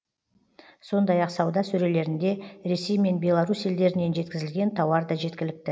сондай ақ сауда сөрелерінде ресей мен беларусь елдерінен жеткізілген тауар да жеткілікті